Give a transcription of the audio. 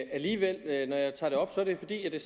alligevel tager det op er det fordi det